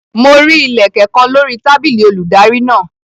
Mo rí Ilẹ̀kẹ̀ kan lórí tábìlì olùdarí náà.